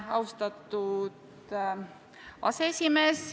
Austatud aseesimees!